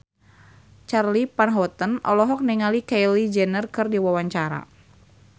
Charly Van Houten olohok ningali Kylie Jenner keur diwawancara